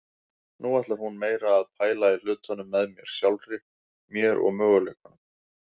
Nú ætlar hún meira að pæla í hlutunum með mér, sjálfri mér og möguleikunum.